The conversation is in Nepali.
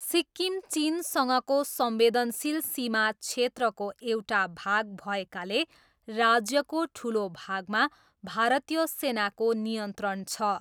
सिक्किम चिनसँगको संवेदनशील सीमा क्षेत्रको एउटा भाग भएकाले राज्यको ठूलो भागमा भारतीय सेनाको नियन्त्रण छ।